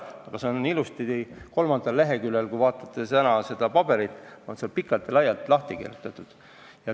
Aga see on ilusasti kolmandal leheküljel pikalt ja laialt lahti kirjutatud.